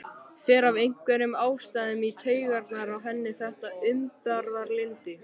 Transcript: Fer af einhverjum ástæðum í taugarnar á henni þetta umburðarlyndi.